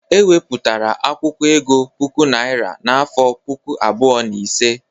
E webatara akwụkwọ ego puku naira n'afọ puku abụọ na ise.